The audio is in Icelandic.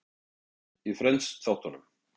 Hvað hétu systkinin í Friends-þáttunum?